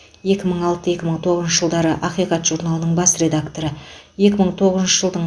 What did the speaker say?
екі мың алты екі мың тоғызыншы жылдары ақиқат журналының бас редакторы екі мың тоғызыншы жылдың